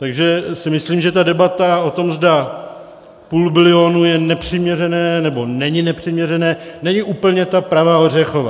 Takže si myslím, že ta debata o tom, zda půl bilionu je nepřiměřené, nebo není nepřiměřené, není úplně ta pravá ořechová.